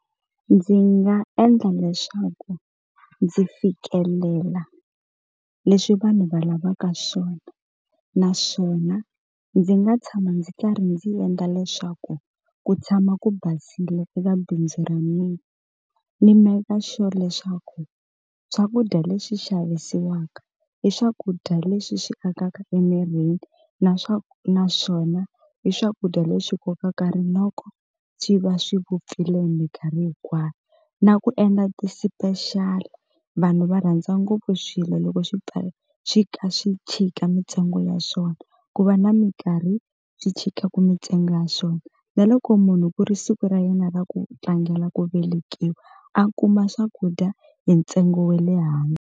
Ndzi nga endla leswaku ndzi fikelela leswi vanhu va lavaka swona naswona ndzi nga tshama ndzi karhi ndzi endla leswaku ku tshama ku basile eka bindzu ra mina ni make-a sure leswaku swakudya leswi xavisiwaka i swakudya leswi swi akaka emirini na naswona i swakudya leswi kokaka rinoko swi va swi vupfile hi minkarhi hinkwayo na ku endla ti-special vanhu va rhandza ngopfu swilo loko swi ka rhi swi kha swi chika mintsengo ya swona ku va na minkarhi swi chikaku mintsengo ya swona na loko munhu ku ri siku ra yena ra ku tlangela ku velekiwa a kuma swakudya hi ntsengo we le .